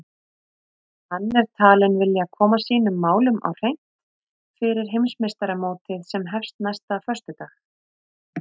Hann er talinn vilja koma sínum málum á hreint fyrir Heimsmeistaramótið sem hefst næsta föstudag.